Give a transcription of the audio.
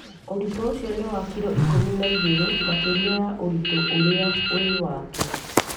ũritu ũcio ni wa kiro ikũmi na igĩrĩ makĩria ya ũritu ũrĩa wĩ wake